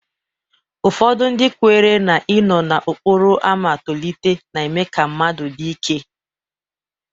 Ụfọdụ ndị kwenyere na-inọọ n'okporo ámá tolite na-eme ka mmadụ dị ike.